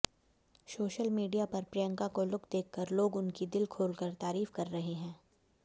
social media पर प्रियंका का look देखकर लोग उनकी दिल खोलकर तारीफ कर रहे हैं